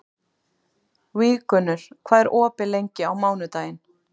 Víggunnur, hvað er opið lengi á mánudaginn?